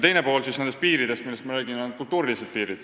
Teine pool nendest piiridest, millest ma räägin, on kultuurilised.